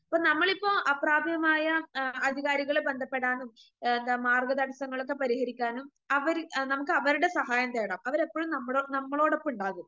ഇപ്പൊ നമ്മളിപ്പോ അപ്രാപ്യമായ ആ അധികാരികളെ ബന്ധപ്പെടാനും എ എന്താ മാർഗ്ഗതടസ്സങ്ങളൊക്കെ പരിഹരിക്കാനും അവര് നമുക്ക് അവര്ടെ സഹായം തേടാം അവരെപ്പഴും നമ്മളൊ നമ്മളോടൊപ്പണ്ടാകും.